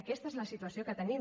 aquesta és la situació que tenim